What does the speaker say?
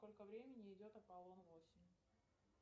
сколько времени идет аполлон восемь